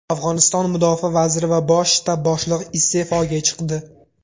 Afg‘oniston mudofaa vaziri va bosh shtab boshlig‘i iste’foga chiqdi.